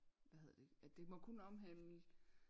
Hvad hedder det at det må kun omhandle